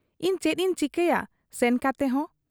ᱤᱧ ᱪᱮᱫ ᱤᱧ ᱪᱤᱠᱟᱹᱭᱟ ᱥᱮᱱ ᱠᱟᱛᱮᱦᱚᱸ ?